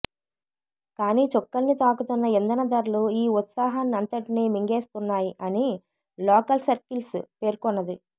కానీ చుక్కల్ని తాకుతున్న ఇంధన ధరలు ఈ ఉత్సాహాన్నంతటినీ మింగేస్తున్నాయి అని లోకల్సర్కిల్స్ పేర్కొన్నది